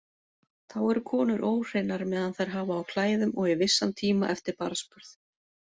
Þá eru konur óhreinar meðan þær hafa á klæðum og í vissan tíma eftir barnsburð.